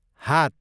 हात